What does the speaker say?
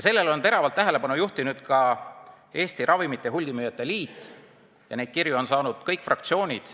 Sellele on teravalt tähelepanu juhtinud ka Eesti Ravimihulgimüüjate Liit, neid kirju on saanud kõik fraktsioonid.